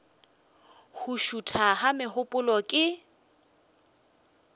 go šutha ga megopolo ke